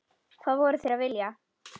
Hvað voru þeir að vilja?